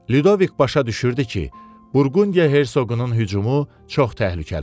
Ludovik başa düşürdü ki, Burqundiya Hersoqunun hücumu çox təhlükəlidir.